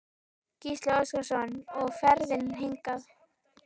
Gísli Óskarsson: Og ferðin hingað?